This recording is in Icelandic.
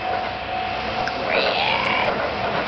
Hver?